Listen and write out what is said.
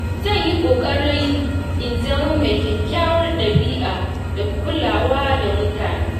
Zan yi ƙoƙari in zama mai kyakkyawar dabi’a da kulawa da mutane.